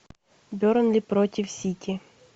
бернли против сити